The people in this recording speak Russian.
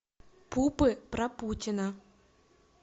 пупы про путина